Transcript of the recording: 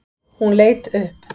Hún leit upp.